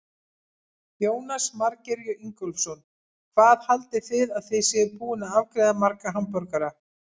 Jónas Margeir Ingólfsson: Hvað haldið þið að þið séuð búin að afgreiða marga hamborgara?